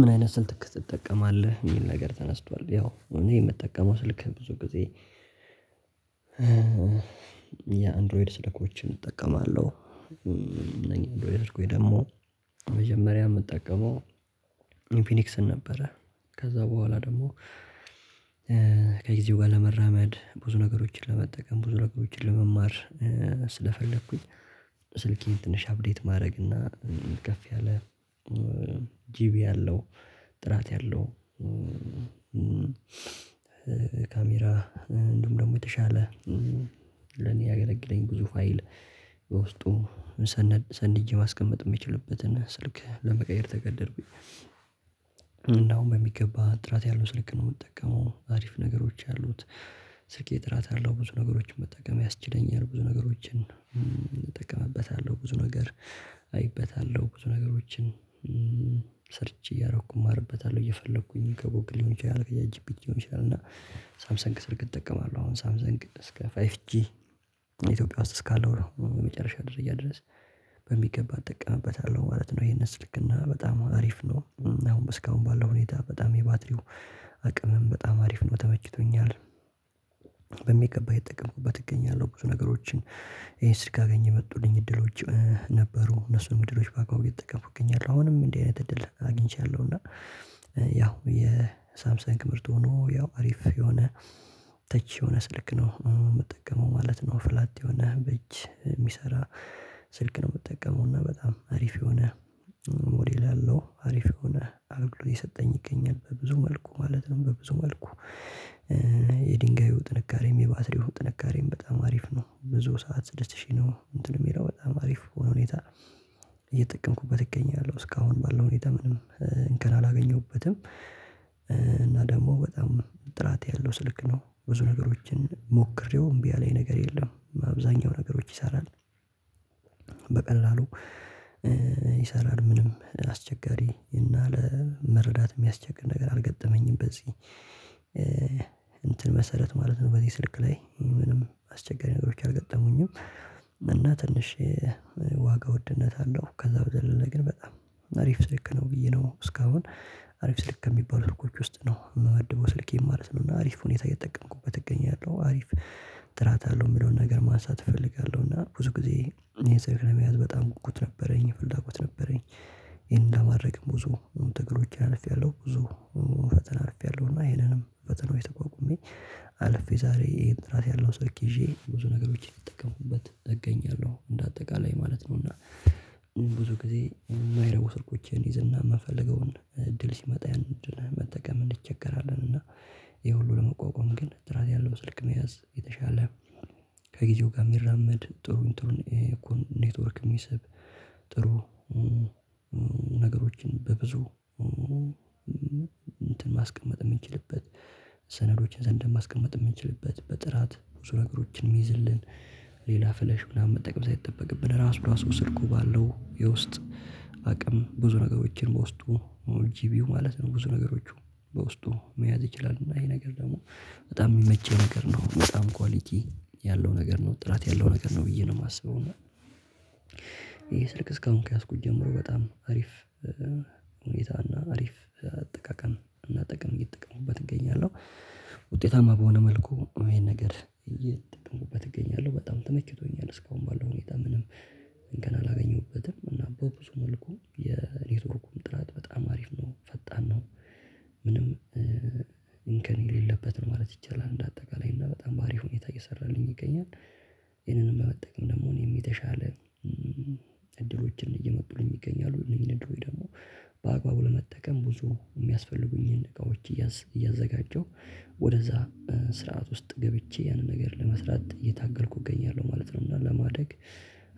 ምን አይነት ስልክ ትጠቀማለህ የሚል ነገር ተነስቷል? ያው እኔ የምጠቀመው ስልክ ብዙ ጊዜ የአንድሮይድ ስልኮችን እጠቀማለሁ። እኔ ደግሞ መጀመሪያ የምጠቀመው ኢንፊኒክስን ነበረ። ከዛ በኋላ ደግሞ ከጊዜው ጋር ለመራመድ ብዙ ነገሮችን ለመጠቀም ብዙ ነገሮችን ለመማር ስለፈለኩኝ ስልኬን ትንሽ አፕዴት ማድረግ እና ከፍ ያለ ጂቢ አለው ጥራት ያለው ካሜራ እንዲሁም ደግሞ የተሻለ ለኔ ያገለግለኝ ብዙ ፋይል በውስጡ ሰንጄ ማስቀመጥ የሚችልበትን ስልክ ለመቀየር ተገደድኩኝ። እና አሁን በሚገባ ጥራት ያለው ስልክ ነው የምትጠቀመው አሪፍ ነገሮች ያሉት። ስልኬ እራት አለው ብዙ ነገሮችን መጠቀም ያስችለኛል ብዙ ነገሮችን እጠቀምበታለሁ ብዙ ነገር አይበታለሁ ብዙ ነገሮችን ሰርቼች እያደረኩ እማርበታለሁ እየፈለኩኝ ከጎግል ሊሆን ይችላል ከቻትጂፒቲ ሊሆን ይችላል። እና ሳምሰንግ ስልክ እጠቀማለሁ አሁን ሳምሰንግ እስከ ፋይቭ ጂ ኢትዮጵያ ውስጥ እስካለው ነው የመጨረሻ ደረጃ ድረስ በሚገባ እጠቀምበታለሁ ማለት ነው። ይሄንን ስልክና በጣም አሪፍ ነው አሁን እስካሁን ባለው ሁኔታ በጣም የባትሪው አቅምም በጣም አሪፍ ነው ተመችቶኛል። በሚገባ እየተጠቀምኩበት እገኛለሁ ብዙ ነገሮችን ይሄን ስልክ ካገኘህ የመጡልኝ እድሎች ነበሩ እነሱንም እድሎች በአግባቡ እየተጠቀምኩ እገኛለሁ አሁንም እንዲህ አይነት እድል አግኝቻለሁ እና ያው የሳምሰንግ ምርት ሆኖ ያው አሪፍ የሆነ ተች የሆነ ስልክ ነው የምጠቀመው ማለት ነው። ፍላጥ የሆነ በእጅ የሚሰራ ስልክ ነው የምጠቀመው እና በጣም አሪፍ የሆነ ሞዴል ያለው አሪፍ የሆነ አገልግሎት እየሰጠኝ ይገኛል በብዙ መልኩ ማለት ነው። በብዙ መልኩ የድንጋዩ ጥንካሬም የባትሪው ጥንካሬም በጣም አሪፍ ነው ብዙ ሰዓት ስድስት ሺህ ነው እንትንም የሚለው በጣም አሪፍ በሆነ ሁኔታ እየጠቀምኩበት እገኛለሁ እስካሁን ባለው ሁኔታ ምንም እንከን አላገኘሁበትም። እና ደግሞ በጣም ጥራት ያለው ስልክ ነው ብዙ ነገሮችን ሞክሬው እምቢ ያለኝ ነገር የለም በአብዛኛው ነገሮች ይሰራል። በቀላሉ ይሰራል ምንም አስቸጋሪ እና ለመረዳት የሚያስቸግር ነገር አልገጠመኝም። በዚህ እንትን መሰረት ማለት ነው በዚህ ስልክ ላይ ምንም አስቸጋሪ ነገሮች አልገጠሙኝም እና ትንሽ የዋጋ ውድነት አለው ከዛ በዘለለ ግን በጣም አሪፍ ስልክ ነው። ብዬ ነው እስካሁን አሪፍ ስልክ ከሚባሉት ሰዎች ውስጥ ነው የምወድበው ስልኬን ማለት ነው እና አሪፍ ሁኔታ እየጠቀምኩበት እገኛለሁ። አሪፍ ጥራት አለው የሚለውን ነገር ማንሳት እፈልጋለሁ እና ብዙ ጊዜ ይሄን ስልክ ለመያዝ በጣም ጉጉት ነበረኝ ፍላጎት ነበረኝ ይሄን ለማድረግ ብዙ ትግሎች አልፌያለሁ ብዙ ፈተና አልፌያለሁና ይሄንንም ፈተናዎች ተቋቁሜ አልፌ ዛሬ ይሄን ጥራት ያለው ሰልክ ይዤ ብዙ ነገሮች እየተጠቀምኩበት እገኛለሁ። እንደ አጠቃላይ ማለት ነው እና ብዙ ጊዜ የማይረቡ ስልኮችን እይዝና የምንፈልገውን እድል ሲመጣ ያንን መጠቀም እንቸገራለን። እና ይሄ ሁሉ ለመቋቋም ግን ጥራት ያለው ስልክ መያዝ የተሻለ ከጊዜው ጋር የሚራመድ ጥሩ ጥሩ እኮ ኔትወርክ የሚሰብ ጥሩ ነገሮችን። በብዙ እንትን ማስቀመጥ የምንችልበት ሰነዶችን ሰንደን ማስቀመጥ የምንችልበት በጥራት ብዙ ነገሮችን የሚይዝልን ሌላ ፍለሽ ምናምን መጠቀም ሳይጠበቅብን ራሱ ራሱ ስልኩ ባለው የውስጥ አቅም ብዙ ነገሮችን በውስጡ ጂቢው ማለት ነው ብዙ ነገሮቹ በውስጡ መያዝ ይችላል እና ይሄ ነገር ደግሞ በጣም የሚመቸኝ ነገር ነው በጣም ኳሊቲ ያለው ነገር ነው ጥራት ያለው ነገር ነው ብዬ ነው የማስበው። እና ይሄ ስልክ እስካሁን ከያዝኩት ጀምሮ በጣም አሪፍ ሁኔታ እና አሪፍ አጠቃቀም እና ጠቅም እየጠቀሙበት እገኛለሁ ውጤታማ በሆነ መልኩ ይሄን ነገር እየጠቀሙበት እገኛለሁ በጣም ተመችቶኛል እስካሁን ባለው ሁኔታ ምንም እንክን አላገኘሁበትም እና በብዙ መልኩ የኔትወርኩም ጥራት በጣም አሪፍ ነው ፈጣን ነው ምንም እንከን የሌለበትን ማለት ይቻላል እንደ አጠቃላይ እና በጣም በአሪፍ ሁኔታ እየሰራልኝ ይገኛል። ይሄንንም በመጠቀም ደግሞ እኔም የተሻለ እድሎችን እየመጡኝ ይገኛሉ እነኝህን እድሎች ደግሞ በአግባቡ ለመጠቀም ብዙ የሚያስፈልጉኝን እቃዎች እያዘጋጀው ወደዛ ስርዓት ውስጥ ገብቼ ያንን ነገር ለመስራት እየታገልኩ እገኛለሁ ማለት ነው። እና ለማደግ